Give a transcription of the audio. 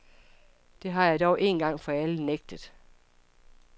Det har jeg dog en gang for alle nægtet.